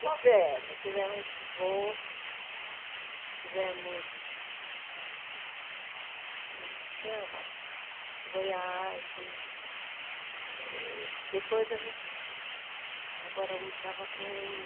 Tivemos, tivemos Volks, tivemos, como que chama, Voyage, depois a gente, agora eu estava com